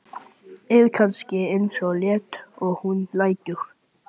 Er kannski ekki eins leitt og hún lætur.